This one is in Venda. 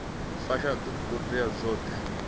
fusha ṱhoḓea dzoṱhe dzi re